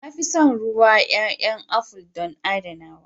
To, na fi son ruwan ƴaƴa aful don adanawa.